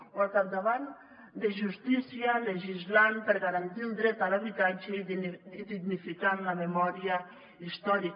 o al capdavant de justícia legislant per garantir el dret a l’habitatge i dignificant la memòria històrica